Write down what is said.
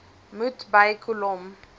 moet by kolom